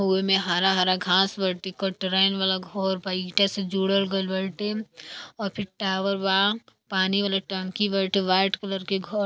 ओही में हरा हरा घास बाटे देखो ट्रेन वाला घर बाई ईंटा से जुडल गइल बा और भी टॉवर बा पानी वाली टंकी वाइट कलर के घर --